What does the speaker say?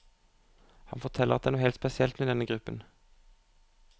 Han forteller at det er noe helt spesielt med denne gruppen.